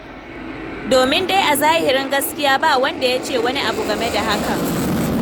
Domin dai a zahirin gaskiya ba wanda ya ce wani abu game da hakan.